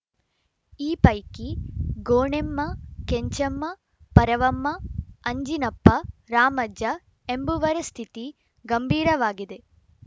ಈ ಪೈಕಿ ಗೋಣೆಮ್ಮ ಕೆಂಚಮ್ಮ ಪರವಮ್ಮ ಅಂಜಿನಪ್ಪ ರಾಮಜ್ಜ ಎಂಬುವರ ಸ್ಥಿತಿ ಗಂಭೀರವಾಗಿದೆ